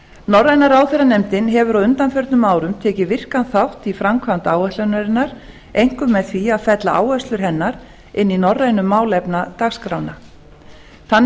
norræna ráðherranefndin hefur á undaförnum árum tekið virkan þátt í framkvæmd áætlunarinnar einkum með því að fella áherslur hennar inn í norrænu málefnadagskrána þannig